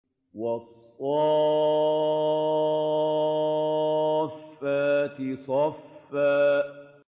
وَالصَّافَّاتِ صَفًّا